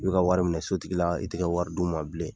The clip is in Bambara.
I bɛ ka wari minɛ sotigi la i tɛ ka wari d'u ma bilen.